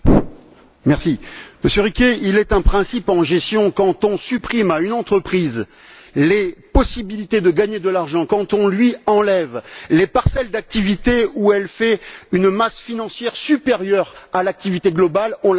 Monsieur Riquet, il est un principe en gestion quand on supprime à une entreprise les possibilités de gagner de l'argent, quand on lui enlève les parcelles d'activité où elle fait une masse financière supérieure à l'activité globale, on la met en difficulté.